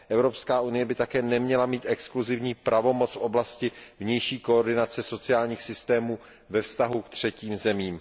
Evropská unie by také neměla mít exkluzivní pravomoc v oblasti vnější koordinace sociálních systémů ve vztahu ke třetím zemím.